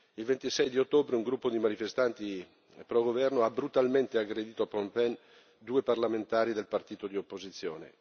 Il 26 di ottobre un gruppo di manifestanti filogovernativi ha brutalmente aggredito a Phnom Penh due parlamentari del partito di opposizione.